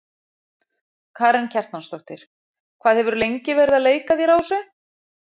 Karen Kjartansdóttir: Hvað hefurðu lengi verið að leika þér á þessu?